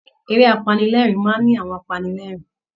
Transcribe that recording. Eré apanilẹ́ẹ̀rín máa ń ní àwọn apanilẹ́ẹ̀rín